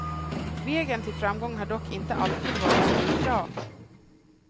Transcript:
Vägen till framgång har dock inte alltid varit spikrak.